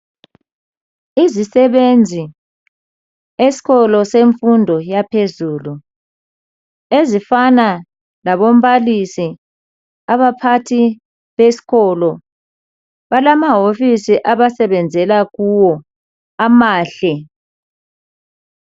Izisebenzi , eskolo semfundo yaphezulu, ezifana labombalisi, abaphathi beskolo, balamahofisi abasebenzela kuwo amahle.